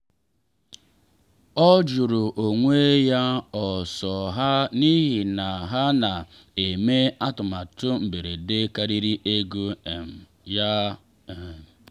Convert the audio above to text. o jụrụ onwe ya ò so ha n’ihi na ha na eme atụmatụ mberede karịrị ego um ya. um